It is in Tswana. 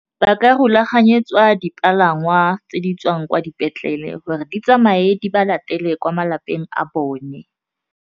Ba ka rulaganyetsa jwa dipalangwa tse di tswang kwa dipetlele gore di tsamaye di ba latele kwa malapeng a bone.